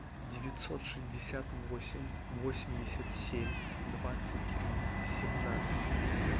девятьсот шестьдесят восемь восемьдесят семь двадцать три семнадцать